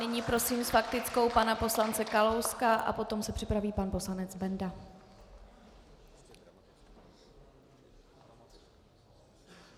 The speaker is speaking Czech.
Nyní prosím s faktickou pana poslance Kalouska a potom se připraví pan poslanec Benda.